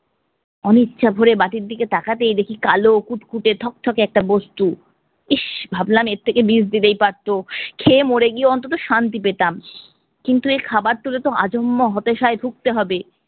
অনিচ্ছা ভরে বাটির দিকে তাকাতেই দেখি কালো, কুটকুটে, থকথকে একটা বস্তু। ইস ভাবলাম এর থেকে বিষ দিলেই পারতো, খেয়ে মরে গিয়ে অন্তত শান্তি পেতাম। কিন্তু এ খাবার আজন্ম হতাশায় ভুগতে হবে।